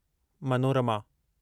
Manorama